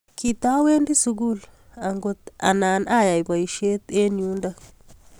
Kitawendii sukul angot anan ayai paisiet eng yundok